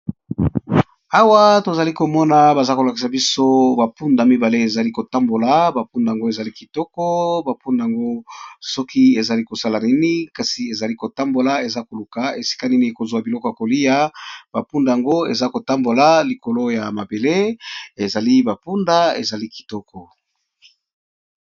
Awa tozali komona balakisi boso ba punda mibale ezakotambola Ezo Luka ba bileyi Yako liya